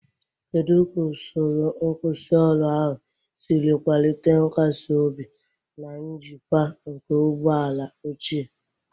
Kedu ka usoro nkwusioru ahụ siri kwalite nkasi obi na njikwa nke ụgbọ ala ochie?